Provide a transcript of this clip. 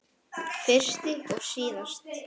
Fyrst og síðast.